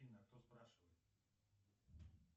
афина а кто спрашивает